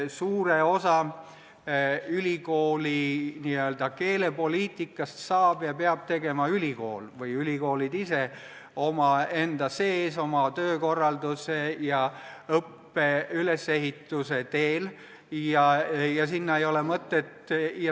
Suure osa ülikooli n-ö keelepoliitikast saavad ja peavad tegema ülikoolid ise enda sees, oma töökorralduse ja õppe ülesehituse kaudu.